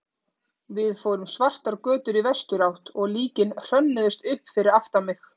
Við fórum svartar götur í vesturátt og líkin hrönnuðust upp fyrir aftan mig.